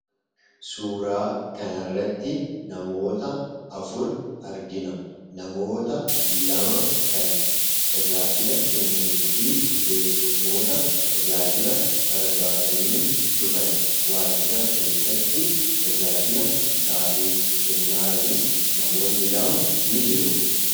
Suuraa kanarratti namoota afur argina namoota lama kan tajaajila kennanii fi keessummoota tajaajila barbaadanii dhufan waajjira keessatti tajaajila isaaniif kennaa jiran fi namoonni lama ni jiru.